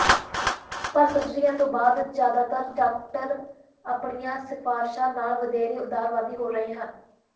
ਪਰ ਸਰਜਰੀ ਤੋਂ ਬਾਅਦ ਜ਼ਿਆਦਾਤਰ ਡਾਕਟਰ ਆਪਣੀਆਂ ਸਿਫਾਰਿਸ਼ਾਂ ਨਾਲ ਵਧੇਰੇ ਉਦਾਰਵਾਦੀ ਹੋ ਰਹੇ ਹਨ